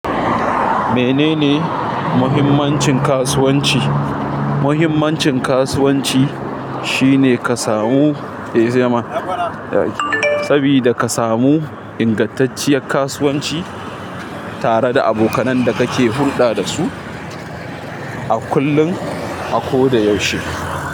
Menene muhimmancin kasuwanci? Muhimmancin kasuwanci shine ka samu, sabida ka samu ingantacciyar kasuwanci tare da abokanai da kake hulɗa dasu a kullum, a ko da yaushe.